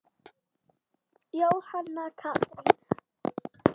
Jóhanna Katrín.